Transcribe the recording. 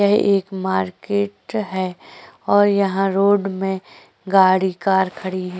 यह एक मार्केट है और यहाँ रोड में गाड़ी कार खड़ी हैं।